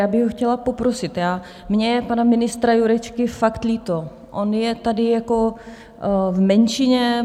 Já bych ho chtěla poprosit, mně je pana ministra Jurečky fakt líto, on je tady jako v menšině.